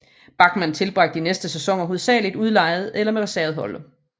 Bachmann tilbragte de næste sæsoner hovedsageligt udlejet eller med reserveholdet